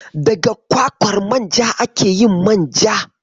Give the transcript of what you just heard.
Daga kwakwar manja ake yin manja.